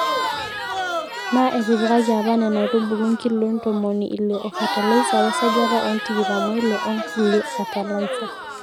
Naa etipikaki apa Nena aitubulu nkiloi ntomoni Ile oo fatalaisa we sajata e tikitam oile oo nkulie fatalaisa.